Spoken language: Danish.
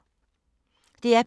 DR P2